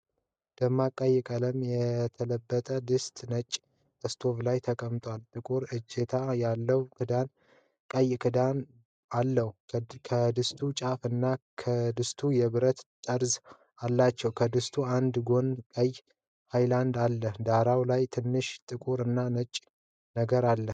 በደማቅ ቀይ ቀለም የተለበጠ ድስት ነጭ ስቶቭ ላይ ተቀምጧል። ጥቁር እጀታ ያለው ቀይ ክዳን አለው። የድስቱ ጫፍ እና ክዳኑ የብረት ጠርዝ አላቸው። ከድስቱ አንድ ጎን ቀይ ሃንድል አለው። ዳራው ላይ ትንሽ ጥቁር እና ነጭ ነገር አለ።